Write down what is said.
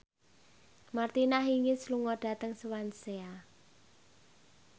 Martina Hingis lunga dhateng Swansea